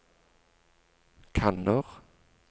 kanner